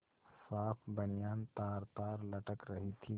साफ बनियान तारतार लटक रही थी